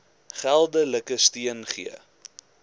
geldelike steun gee